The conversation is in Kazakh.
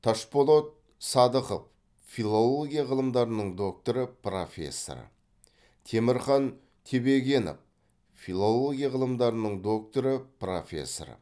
ташполот садықов филология ғылымдарының докторы профессоры темірхан тебегенов филология ғылымдарының докторы профессоры